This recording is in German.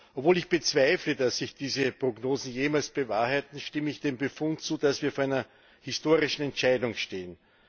Obwohl ich bezweifle, dass sich diese Prognosen jemals bewahrheiten, stimme ich dem Befund zu, dass wir vor einer historischen Entscheidung stehen.